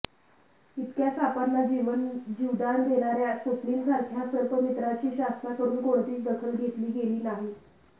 इतक्या सापांना जीवदान देणार्या स्वप्निलसारख्या सर्पमित्राची शासनाकडून कोणतीच दखल घेतली गेली नाही